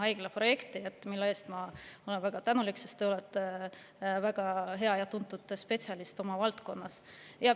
Ma olen selle eest väga tänulik, sest te olete väga hea ja tuntud spetsialist oma valdkonnas.